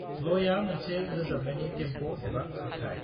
लयआ मोनसे रोजाबनायनि टेम्प' एबा खारथाइ।